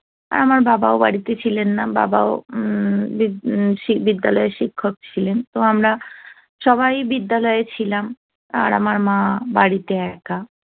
আমার বাবা ও বাড়িতে ছিলেন না বাবা ও বিদ্যালয়ের শিক্ষক ছিলেন তো আমরা সবাই বিদ্যালয়ে ছিলাম আর আমার মা বাড়িতে একা